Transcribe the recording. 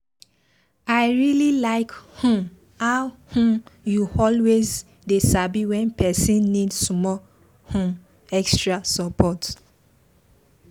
i really like um how um you always dey sabi when person need small um extra support.